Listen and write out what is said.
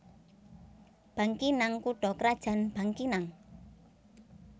Bangkinang kutha krajan Bangkinang